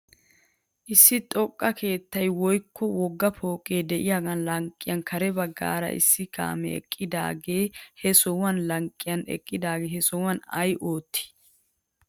Issi zoqqa keettay woykko wogga pooqee de'iyaagaa lanqqen kare baggaara issi kaamee eqqidaavee he sohuwaa lanqqen eqqidaagee he sohuwan ayna oottii